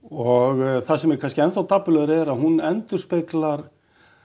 og það sem er kannski enn þá dapurlegra er að hún endurspeglar